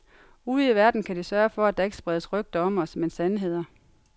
Ude i verden kan de sørge for, at der ikke spredes rygter om os men sandheder.